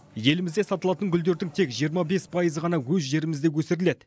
елімізде сатылатын гүлдердің тек жиырма бес пайызы ғана өз жерімізде өсіріледі